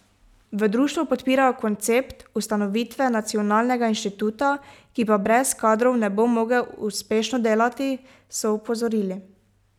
V društvu podpirajo koncept ustanovitve nacionalnega inštituta, ki pa brez kadrov ne bo mogel uspešno delati, so opozorili.